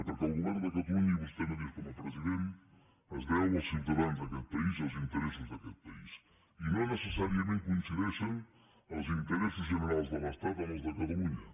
perquè el govern de catalunya i vostè mateix com a president es deu als ciutadans d’aquest país i als interessos d’aquest país i no necessàriament coincideixen els interessos generals de l’estat amb els de catalunya